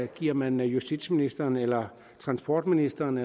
giver man justitsministeren eller transportministeren